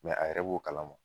a yɛrɛ b'o kala ma.